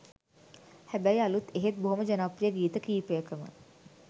හැබැ‍යි අලුත් එහෙත් බොහොම ජනප්‍රිය ගීත කීපයකම